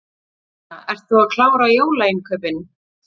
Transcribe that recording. Jóhanna: Ert þú að klára jólainnkaupin?